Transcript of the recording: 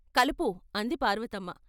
కలుపు " అంది పార్వతమ్మ.